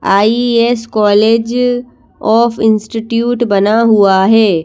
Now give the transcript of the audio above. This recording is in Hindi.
आई_एस कॉलेज ऑफ इंस्टिट्यूट बना हुआ है।